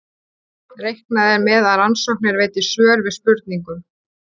Reiknað er með að rannsóknir veiti svör við spurningum.